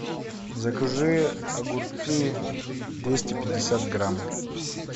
закажи огурцы двести пятьдесят грамм